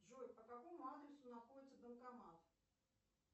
джой по какому адресу находится банкомат